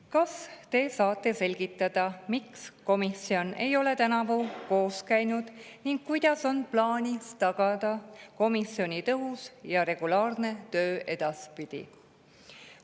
Kas te saate selgitada, miks komisjon ei ole tänavu koos käinud ning kuidas on plaanis tagada komisjoni tõhus ja regulaarne töö edaspidi?